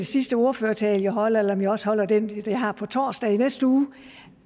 sidste ordførertale jeg holder eller om jeg også holder den jeg har på torsdag i næste uge